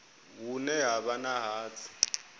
hune ha vha na hatsi